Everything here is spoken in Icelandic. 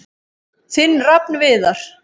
Þinn Rafn Viðar.